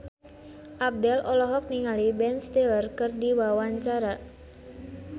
Abdel olohok ningali Ben Stiller keur diwawancara